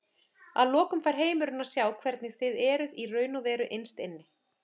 Að lokum fær heimurinn að sjá hvernig þið eruð í raun og veru innst inni.